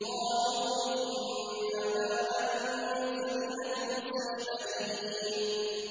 قَالُوا إِنَّمَا أَنتَ مِنَ الْمُسَحَّرِينَ